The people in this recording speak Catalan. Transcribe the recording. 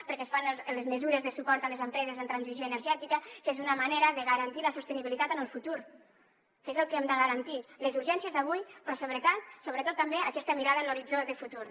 perquè es fan les mesures de suport a les empreses en transició energètica que és una manera de garantir la sostenibilitat en el futur que és el que hem de garantir les urgències d’avui però sobretot també aquesta mirada en l’horitzó de futur